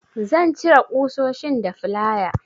Zan cire ƙusoshin da flaya.